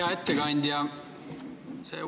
Hea ettekandja!